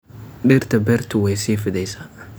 Dhirta beertu way sii fidaysaa.